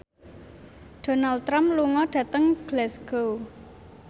Donald Trump lunga dhateng Glasgow